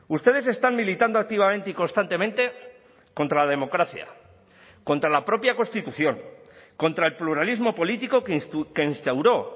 ustedes están militando activamente y constantemente contra la democracia contra la propia constitución contra el pluralismo político que instauró